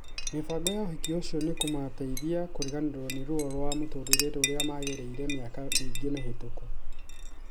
Mĩbango ya ũhiki ũcio nĩkũmateithia kũriganĩrũo nĩ ruo rwa mũtũrĩre rũrĩa magereire mĩaka mĩingĩ mĩhĩtũku.